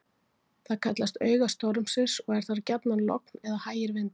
Þar kallast auga stormsins og er þar gjarnan logn eða hægir vindar.